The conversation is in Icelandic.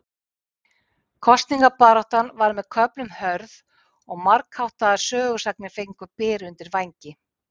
Kosningabaráttan var með köflum hörð og margháttaðar sögusagnir fengu byr undir vængi.